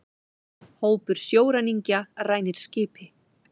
Hópur sjóræningja rænir skipi